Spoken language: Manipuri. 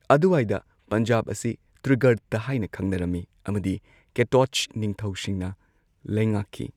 ꯑꯗꯨꯋꯥꯏꯗ, ꯄꯟꯖꯥꯕ ꯑꯁꯤ ꯇ꯭ꯔꯤꯒꯔꯇ ꯍꯥꯏꯅ ꯈꯪꯅꯔꯝꯃꯤ ꯑꯃꯗꯤ ꯀꯦꯇꯣꯆ ꯅꯤꯡꯊꯧꯁꯤꯡꯅ ꯂꯩꯉꯥꯛꯈꯤ꯫